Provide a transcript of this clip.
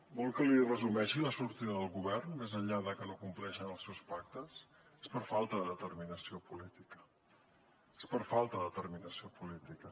vol que li resumeixi la sortida del govern més enllà de que no compleixen els seus pactes és per falta de determinació política és per falta determinació política